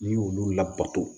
N'i y'olu labato